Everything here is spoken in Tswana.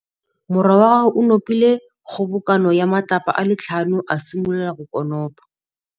Morwa wa gagwe o nopile kgobokanô ya matlapa a le tlhano, a simolola go konopa.